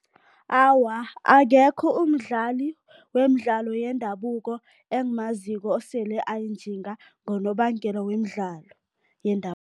Awa, akekho umdlali wemidlalo yendabuko engimaziko osele ayinjinga ngonobangela wemidlalo